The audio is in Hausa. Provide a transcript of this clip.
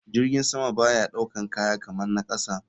Jirgin sama baya ɗaukan kaya kaman na kasa.